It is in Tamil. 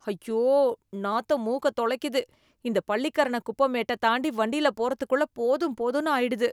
ஐயோ, நாத்தம் மூக்க துளைக்குது, இந்த பள்ளிக்கரண குப்ப மேட்டத் தாண்டி வண்டியில போறதுக்குள்ள போதும் போதும்னு ஆயிடுது